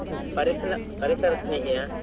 ಪರಿಸರ ಪರಿಸರ ಸ್ನೇಹಿಯ?